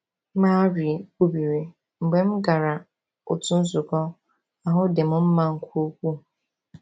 Marie kwubiri: “Mgbe m gara otu nzukọ, ahụ dị m mma nke ukwuu.”